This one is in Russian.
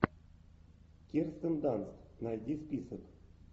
кирстен данст найди список